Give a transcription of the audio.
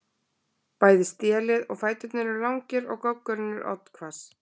Bæði stélið og fæturnir eru langir og goggurinn er oddhvass.